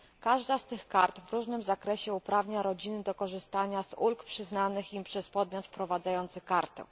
Każda z tych kart w różnym zakresie uprawnia rodziny do korzystania z ulg przyznanych im przez podmiot wprowadzający kartę.